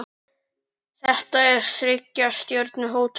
Þetta er þriggja stjörnu hótel.